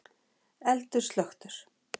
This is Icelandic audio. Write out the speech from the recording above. Eldur slökktur